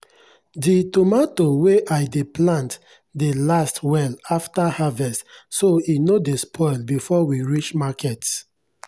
the tomato wey i dey plant dey last well after harvest so e no dey spoil before we reach market.